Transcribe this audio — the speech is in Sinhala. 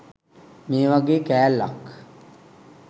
මේ වගේ කෑල්ලක්